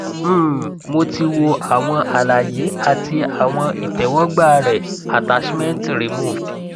um mo ti wò àwọn àlàyé àti àwọn ìtẹwọgbà rẹ attachment removed